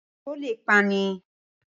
Ìṣó le è pani